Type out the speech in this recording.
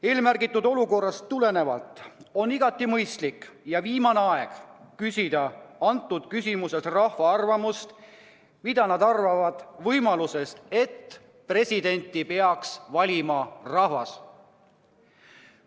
Niisugusest olukorrast tulenevalt on igati mõistlik ja viimane aeg küsida rahva arvamust, mida arvatakse ettepanekust, et presidenti peaks valima rahvas.